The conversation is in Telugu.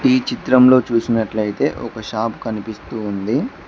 ఈ చిత్రంలో చూసినట్లయితే ఒక షాప్ కనిపిస్తూ ఉంది.